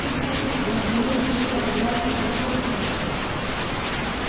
ты поттер раздаёшь свои фотографии с автографом